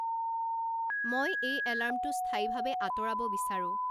মই এই এলাৰ্মটো স্থায়ীভাৱে আঁতৰাব বিচাৰোঁ